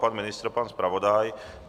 Pan ministr, pan zpravodaj.